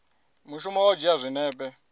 mushumo wa u dzhia zwinepe